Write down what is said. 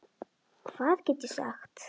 Hvað get ég sagt.